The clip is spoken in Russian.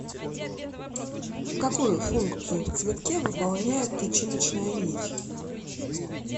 какую функцию в цветке выполняет тычиночная нить